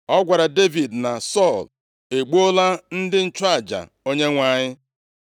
Ọ gwara Devid na Sọl egbuola ndị nchụaja Onyenwe anyị.